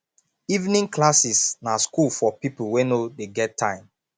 evening classes na school for pipo wey no dey get time